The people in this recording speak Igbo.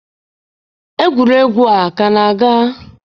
Egwuregwu a ka na-aga?